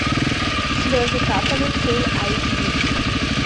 слезы капали фулл айч ди